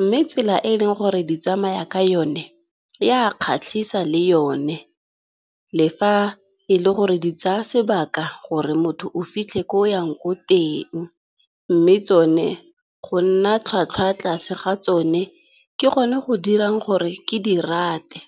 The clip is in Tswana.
Mme tsela e e leng gore di tsamaya ka yone e a kgatlhisa le yone le fa e le gore di tsaya sebaka gore motho o fitlhe ko o yang ko teng, mme tsone go nna tlhwatlhwa tlase ga tsone ke gone go dirang gore ke di rate.